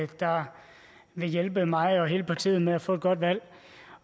der vil hjælpe mig og hele partiet med at få et godt valg